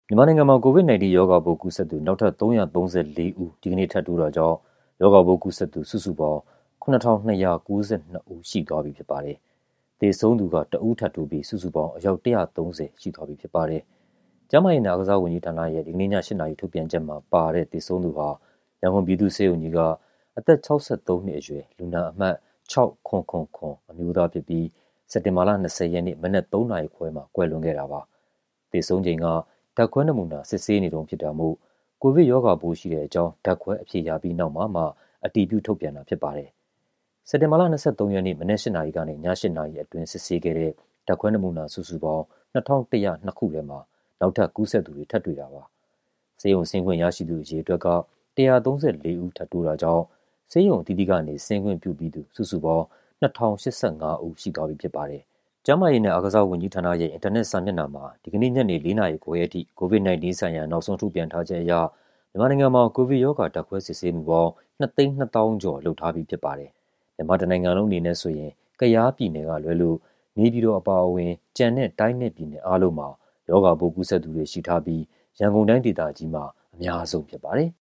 မြန်မာနိုင်ငံမှာ COVID-19 ရောဂါကူးစက်သူ နောက်ထပ် ၃၃၄ ဦး ဒီကနေ့ထပ်တိုးတာကြောင့် ရောဂါပိုးကူးစက်သူ စုစုပေါင်း ၇,၂၉၂ ဦး ရှိသွားပြီဖြစ်ပါတယ်။ သေဆုံးသူကတော့ ၁ ဦး ထပ်တိုးပြီး စုစုပေါင်း အယောက် ၁၃၀ ရှိသွားပြီဖြစ်ပါတယ်။ ကျန်းမာရေးနဲ့ အားကစားဝန်ကြီးဌာနရဲ့ ဒီကနေ့ည ၈ နာရီ ထုတ်ပြန်ချက်မှာပါတဲ့ သေဆုံးသူဟာ ရန်ကုန်ပြည်သူ့ဆေးရုံကြီးက အသက် ၆၃ နှစ်အရွယ် လူနာအမှတ် ၆၇၇၇ အမျိုးသားဖြစ်ပြီး စက်တင်ဘာလ ၂၀ ရက်နေ့ မနက် ၃ နာရီခွဲမှာ ကွယ်လွန်ခဲ့တာပါ။ သေဆုံးချိန်က ဓာတ်ခွဲနမူနာ စစ်ဆေးနေတုန်း ဖြစ်တာမို့ ကိုဗစ်ရောဂါပိုး ရှိတဲ့အကြောင်း ဓာတ်ခွဲအဖြေရပြီးနောက်မှာမှ အတည်ပြုထုတ်ပြန်တာဖြစ်ပါတယ်။ စက်တင်ဘာလ ၂၃ ရက်နေ့ မနက် ၈ နာရီကနေ ည ၈ နာရီအတွင်း စစ်ဆေးခဲ့တဲ့ ဓာတ်ခွဲနမူနာ စုစုပေါင်း ၂,၁၀၂ ခုထဲမှာ နောက်ထပ်ကူးစက်သူတွေ ထပ်တွေ့တာဖြစ်ပါတယ်။ ဆေးရုံဆင်းခွင့်ရရှိသူ အရေအတွက်က ၁၃၄ ဦး ထပ်တိုးတာကြောင့် ဆေးရုံအသီးသီးက ဆင်းခွင့်ပြုပြီးသူ စုစုပေါင်း ၂,၀၈၅ ဦး ရှိသွားပြီဖြစ်ပါတယ်။ ကျန်းမာရေးနဲ့ အားကစားဝန်ကြီးဌာနရဲ့ အင်တာနက်စာမျက်နှာမှာ ဒီကနေ့ညနေ ၄ နာရီခွဲအထိ COVID-19 ဆိုင်ရာ နောက်ဆုံးထုတ်ပြန်ထားချက်အရ မြန်မာနိုင်ငံမှာ ကိုဗစ်ရောဂါ ဓာတ်ခွဲစစ်ဆေးမှုပေါင်း ၂၂၀,၀၀၀ ကျော် လုပ်ထားပြီးဖြစ်ပါတယ်။ မြန်မာတနိုင်ငံလုံးအနေနဲ့ဆိုရင် ကယားပြည်နယ်ကလွဲလို့ နေပြည်တော်အပါအဝင် ကျန်တဲ့ တိုင်းနဲ့ပြည်နယ်အားလုံးမှာ ရောဂါပိုးကူးစက်သူတွေ ရှိထားပြီး ရန်ကုန်တိုင်းဒေသကြီးမှာ အများဆုံး ဖြစ်ပါတယ်။